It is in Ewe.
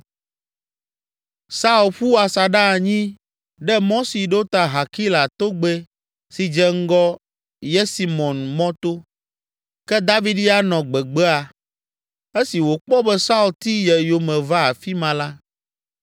Saul ƒu asaɖa anyi ɖe mɔ si ɖo ta Hakila tɔgbɛ si dze ŋgɔ Yesimon mɔto, ke David ya nɔ gbegbea. Esi wòkpɔ be Saul ti ye yome va afi ma la,